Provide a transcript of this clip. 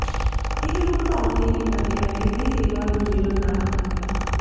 ਇਹ ਨੂੰ ਵਧਾਉਣ ਲਈ ਕੀਤਾ ਗਿਆ ਹੈ ਦੀ ਸੇਵਾ ਨੂੰ ਜੀਵਨ ਦਾ ਅੰਗ ਹੈ